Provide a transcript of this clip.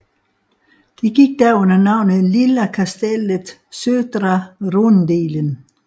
Det gik da under navnet Lilla kastellet södra rundeln